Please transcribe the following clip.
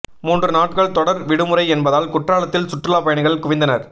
மூன்று நாட்கள் தொடர் விடுமுறை என்பதால் குற்றாலத்தில் சுற்றுலா பயணிகள் குவிந்தனர்